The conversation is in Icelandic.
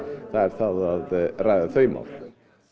það er það að ræða þau mál